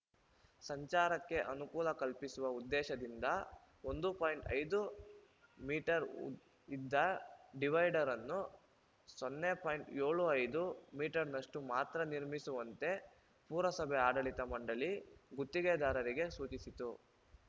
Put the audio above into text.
ಸಂಚಾರಕ್ಕೆ ಅನುಕೂಲ ಕಲ್ಪಿಸುವ ಉದ್ದೇಶದಿಂದ ಒಂದು ಪಾಯಿಂಟ್ ಐದು ಮೀಟರ್ ಉ ಇದ್ದ ಡಿವೈಡರ್ ಅನ್ನು ಸೊನ್ನೆ ಪಾಯಿಂಟ್ ಏಳು ಐದು ಮೀಟರ್ನಷ್ಟು ಮಾತ್ರ ನಿರ್ಮಿಸುವಂತೆ ಪುರಸಭೆ ಆಡಳಿತ ಮಂಡಳಿ ಗುತ್ತಿಗೆದಾರರಿಗೆ ಸೂಚಿಸಿತ್ತು